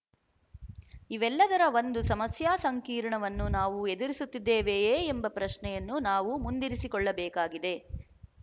ಇವೆಲ್ಲದರ ಒಂದು ಸಮಸ್ಯಾ ಸಂಕೀರ್ಣವನ್ನು ನಾವು ಎದುರಿಸುತ್ತಿದ್ದೇವೆಯೇ ಎಂಬ ಪ್ರಶ್ನೆಯನ್ನು ನಾವು ಮುಂದಿರಿಸಿಕೊಳ್ಳಬೇಕಾಗಿದೆ